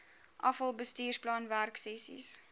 afal bestuursplan werksessies